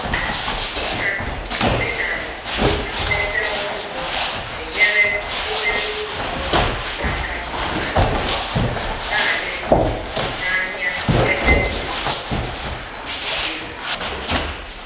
Ịhazi omenala na mmepe ohuru na-enyere obere ulọ ọrụ aka ịnogide na-adi mkpa n'ahịa ebe asọmpi di elu.